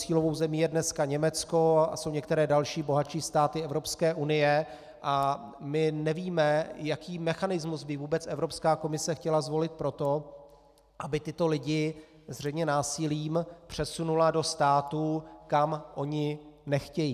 Cílovou zemí je dneska Německo a asi některé další bohatší státy Evropské unie a my nevíme, jaký mechanismus by vůbec Evropská komise chtěla zvolit pro to, aby tyto lidi zřejmě násilím přesunula do států, kam oni nechtějí.